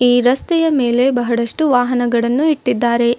ಈ ರಸ್ತೆಯ ಮೇಲೆ ಬಹಳಷ್ಟು ವಾಹನಗಳನ್ನು ಇಟ್ಟಿದ್ದಾರೆ.